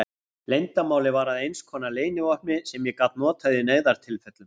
Leyndarmálið varð að einskonar leynivopni sem ég gat notað í neyðartilfellum.